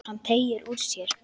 Hann teygir úr sér.